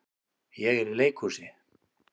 Ég er í leikhúsi.